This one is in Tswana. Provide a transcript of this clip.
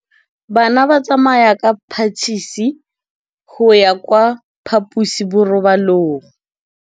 Bana ba tsamaya ka phašitshe go ya kwa phaposiborobalong.